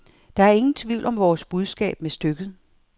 Der er ingen tvivl om vores budskab med stykket.